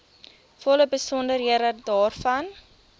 volle besonderhede daarvan